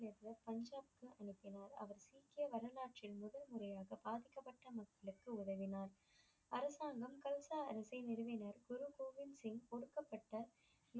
பஞ்சாப் சீக்கிய வரலாற்றின் முதல் முறையாக பாதிக்கபட்ட மக்களுக்கு உதவினார் அரசாங்கம் கல்சா அரசை நிறுவினர். குரு கோவிந்த் சிங் ஒடுக்கப்பட்ட